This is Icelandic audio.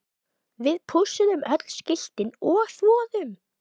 VIÐ PÚSSUÐUM ÖLL SKILTIN OG ÞVOÐUM